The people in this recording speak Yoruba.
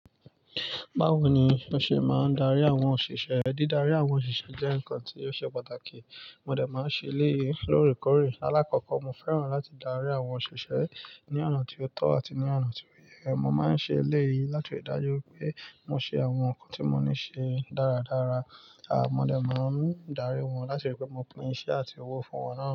Bawo ni o ṣe máa ń darí àwọn òṣìṣẹ́ rẹ? Dídárí àwọn òṣìṣẹ́ jẹ́ nǹkan tí ó ṣe pàtàkì. Mo dẹ̀ máa ń ṣe eléyìí lóòrèkóòrè. Alákọ̀ọ́kọ́ mo fẹ́ràn láti darí àwọn òṣìṣẹ́ ní ọ̀nà tí ó tọ́ àti ní ọ̀nà tí ó yẹ. Mo máa ń ṣe eléyìí láti rí i dájú pé mò ṣe àwọn nǹkan tí mo ní ṣe dáradára. Aà mọ̀ọ́ máa ń darí wọn láti rí i pé mo pín iṣẹ́ àti owó fún wọn náà.